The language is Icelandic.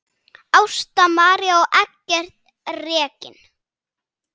Ásta María og Eggert Reginn.